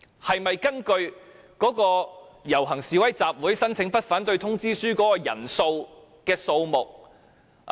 是否應該根據警方就遊行示威集會申請發出的不反對通知書的人數來釐定？